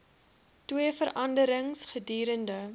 twee vergaderings gedurende